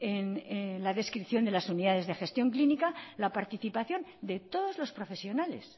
en la descripción de las unidades de gestión clínica la participación de todos los profesionales